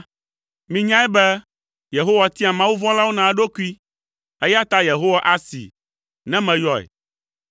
Minyae be Yehowa tia mawuvɔ̃lawo na eɖokui, eya ta Yehowa asee, ne meyɔe.